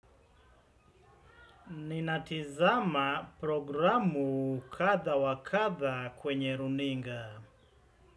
Ninatizama programu katha wakatha kwenye runinga.